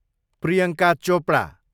Priyanka Chopra